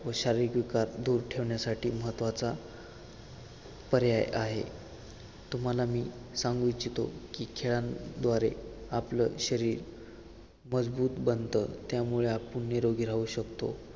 व शारीरिक विकार दूर ठेवण्यासाठी महत्वाचा पर्याय आहे तुम्हाला मी सांगू इच्छितो कि खेळांद्वारे आपलं शरीर मजबूत बनत त्या मुळे आपण निरोगी राहू शकतो.